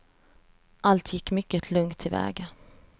Allt gick mycket lugnt till väga.